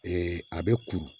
a bɛ kuru